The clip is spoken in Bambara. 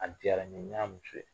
An diyara n ye n y'a muso ye